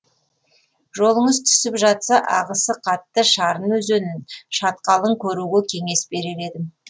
жолыңыз түсіп жатса ағысы қатты шарын өзенін шатқалын көруге кеңес берер едім